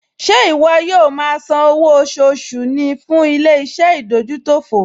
Ṣé ìwọ yóò máa san owó oṣooṣù ní fún ilé-iṣẹ́ ìdójútòfò?